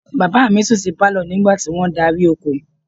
Bàbá mi sùn sí pálọ̀ nígbà tí wọ́n darí oko